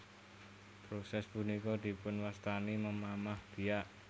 Prosès punika dipunwastani memamah biak